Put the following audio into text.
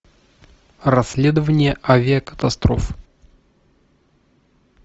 расследования авиакатастроф